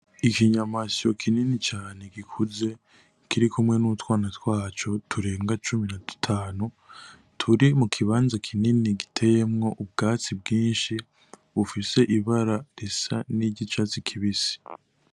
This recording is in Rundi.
Ikinyamasyo kinini cane gikuze kirikumwe n' utwana twaco turenga cumi na dutanu turi mu kibanza kinini giteyemwo ubwatsi bwinshi bufise ibara risa niry'icatsi kibisi.